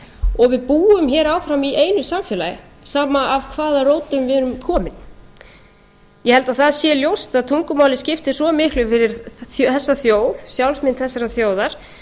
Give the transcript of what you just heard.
og við búum hér áfram í einu samfélagi sama af hvaða rótum við erum komin ég held að það sé ljóst að tungumálið skiptir svo miklu fyrir þessa þjóð sjálfsmynd þessarar þjóðar